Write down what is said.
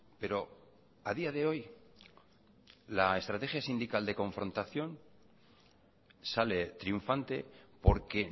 pero a día de hoy la estrategia sindical de confrontación sale triunfante porque